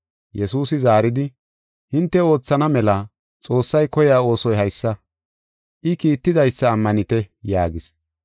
Yesuusi zaaridi, “Hinte oothana mela Xoossay koyiya oosoy haysa: I kiittidaysa ammanite” yaagis.